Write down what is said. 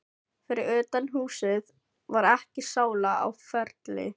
Fyrir utan húsið var ekki sála á ferli.